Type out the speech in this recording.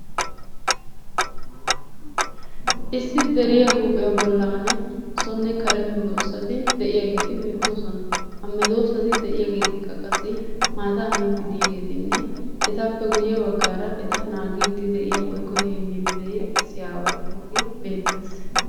Issi deriya huuphiya bollan sonne kare medoossati de'iyageeti beettoosona. Ha medoossati de'iyageetikka qassi maataa miiddi de'iyageetinne etappe guyye baggaara eta naagiiddi de'iya woykko heemmiiddi de'iya issi aaway de'iyagee beettees.